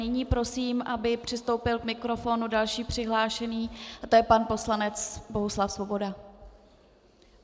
Nyní prosím, aby přistoupil k mikrofonu další přihlášený, a to je pan poslanec Bohuslav Svoboda.